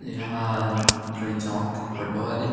एहा कोई चौक के फोटो हरे।